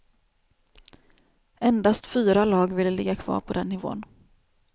Endast fyra lag ville ligga kvar på den nivån.